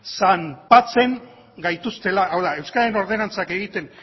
zanpatzen gaituztela hau da euskararen ordenantza egiten